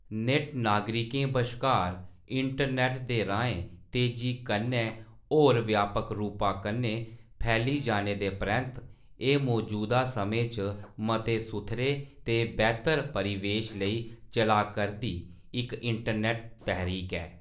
नेटनागरिकें बश्कार इंटरनेट दे राहें तेजी कन्नै होर व्यापक रूपा कन्नै फैली जाने दे परैंत्त, एह् मजूदा समें च मते सुथरे ते बैह्‌तर परिवेश लेई चला करदी इक इंटरनेट तैहरीक ऐ।